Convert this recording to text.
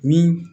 Min